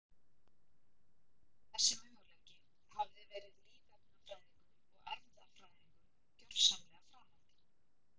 Þessi möguleiki hafði verið lífefnafræðingum og erfðafræðingum gjörsamlega framandi.